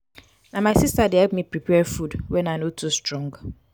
na my sister dey help me prepare food wen i no too strong.